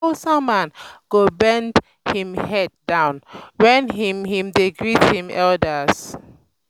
hausa man go bend him head down wen him him dey greet im elders